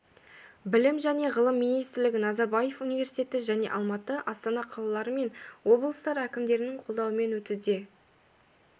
білім және ғылым министрлігі назарбаев университеті және алматы астана қалалары мен облыстар әкімдіктерінің қолдауымен өтуде